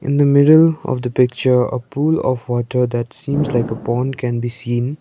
in the middle of the picture a pool of water that seems like a pond can be seen.